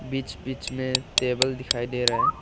बीच बीच में टेबल दिखाई दे रहा है।